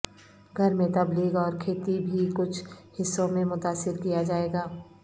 گھر میں تبلیغ اور کھیتی بھی کچھ حصوں میں متاثر کیا جائے گا